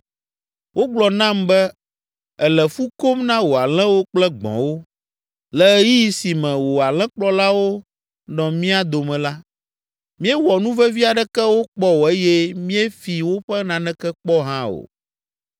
Wogblɔ nam be èle fu kom na wò alẽwo kple gbɔ̃wo. Le ɣeyiɣi si me wò alẽkplɔlawo nɔ mía dome la, míewɔ nuvevi aɖeke wo kpɔ o eye míefi woƒe naneke kpɔ hã o.